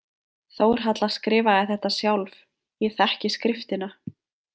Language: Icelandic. Þórhalla skrifaði þetta sjálf, ég þekki skriftina.